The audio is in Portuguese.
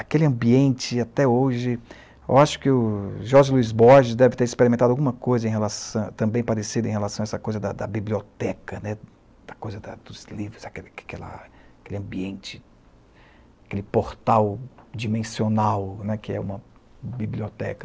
Aquele ambiente, até hoje, eu acho que o Jorge Luiz Borges deve ter experimentado alguma coisa em relação, também parecida em relação a essa coisa da da biblioteca né, da coisa dos livros, aquele, aquela, aquele ambiente, aquele portal dimensional né, que é uma biblioteca.